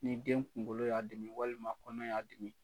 Ni den kunkolo y'a dimi walima kɔnɔ y'a dimi